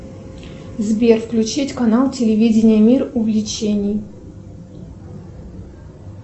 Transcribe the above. сбер включить канал телевидение мир увлечений